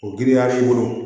O giriya b'i bolo